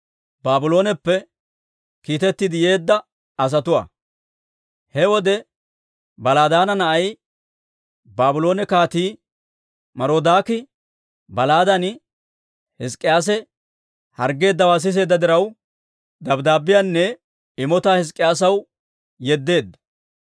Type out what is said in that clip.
He wode Baladaana na'ay, Baabloone Kaatii, Marodaaki Baladaani Hizk'k'iyaase harggeeddawaa siseedda diraw, dabddaabbiyaanne imotaa Hizk'k'iyaasaw yeddeedda.